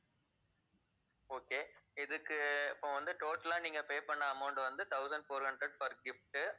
okay இதுக்கு இப்ப வந்து total ஆ நீங்க pay பண்ண amount வந்து thousand four hundred for gift உ